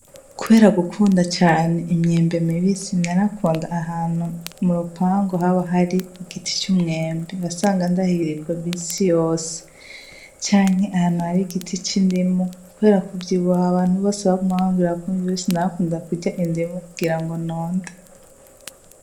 Kubera gukunda cane imyembe mibisi narakunda kuja ahantu murupangu igiti c'umwembe wasanga ndahirirwa misi yose, canke ahantu har'igiti c'indimu kubera kuvyibuha abantu bose baguma bamwira ko mvyibushe narakunda kurya indimu kugirango nonde.